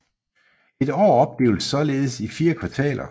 Et år opdeles således i 4 kvartaler